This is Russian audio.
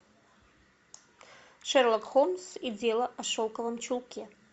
шерлок холмс и дело о шелковом чулке